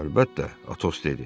Əlbəttə, Atos dedi.